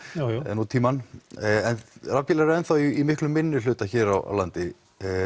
eða nútímann rafbílar eru enn í miklum minnihluta hér á landi